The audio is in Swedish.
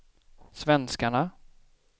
svenskarna